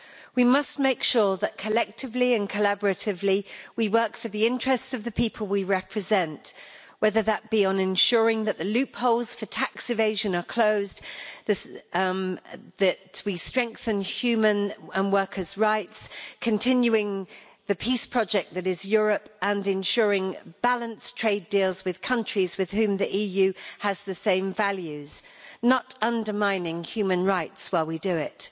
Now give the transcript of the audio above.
We must make sure that collectively and collaboratively we work for the interests of the people we represent, whether that be by ensuring that the loopholes for tax evasion are closed, strengthening human and workers' rights, continuing the peace project that is Europe or ensuring balanced trade deals with countries with whom the EU has the same values and not undermining human rights while we do it.